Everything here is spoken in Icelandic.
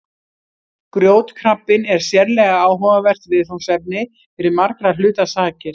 Grjótkrabbinn er sérlega áhugavert viðfangsefni fyrir margra hluta sakir.